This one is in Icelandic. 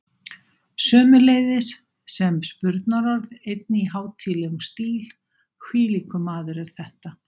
Sömuleiðis sem spurnarorð einnig í hátíðlegum stíl: hvílíkur maður er þetta?